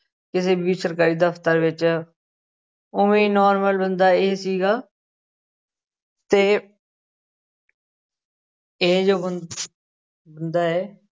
ਕਿਸੇ ਵੀ ਸਰਕਾਰੀ ਦਫ਼ਤਰ ਵਿੱਚ ਉਵੇਂ normal ਬੰਦਾ ਇਹ ਸੀਗਾ ਤੇ ਇਹ ਜੋ ਬੰ ਬੰਦਾ ਹੈ